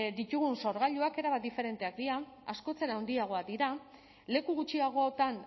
ditugun sorgailuak erabat diferenteak dira askoz ere handiagoak dira leku gutxiagotan